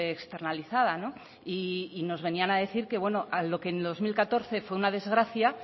externalizada y nos venían a decir que lo que en dos mil catorce fue una desgracia